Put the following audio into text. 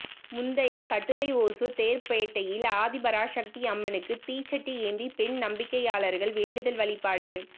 முந்தைய கட்டுரைஒசூர் தேர்பேட்டையில் ஆதிபராசக்தி அம்மனுக்கு தீச்சட்டி ஏந்தி பெண் நம்பிக்கையாளர்கள் வேண்டுதல் வழிபாடு